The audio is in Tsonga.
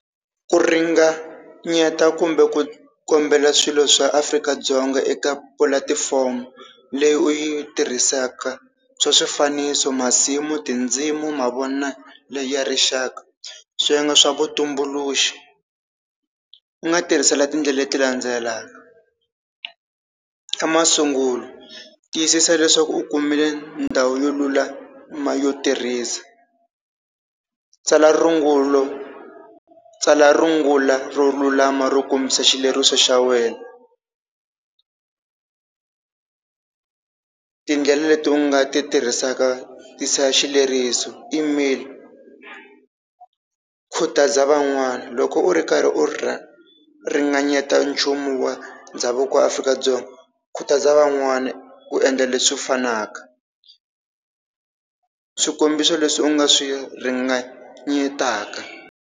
Ku ringanyeta kumbe ku kombela swilo swa Afrika-Dzonga eka pulatifomo leyi u yi tirhisaka. Swa swifaniso, masimu, tindzimu mavonelo ya rixaka, swiyenge swa vutumbuluxi. U nga tirhisela tindlela leti landzelaka, xa masungulo tiyisisa leswaku u kumile ndhawu yo lulama yo tirhisa, tsala rungulo tsala rungula ro lulama ro kombisa xileriso xa wena, tindlela leti u nga ti tirhisaka tisa xileriso, email, khutaza van'wana loko u ri karhi u ringanyeta nchumu wa ndhavuko wa Afrika-Dzonga khutaza van'wana ku endla leswi fanaka swikombiso leswi u nga swi ringanyateka.